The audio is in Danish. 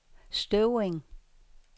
Støvring